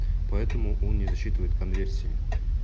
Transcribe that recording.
поэтому он не засчитывает конверсии